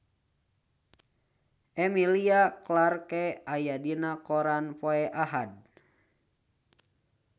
Emilia Clarke aya dina koran poe Ahad